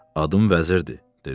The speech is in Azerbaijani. Adım vəzirdi,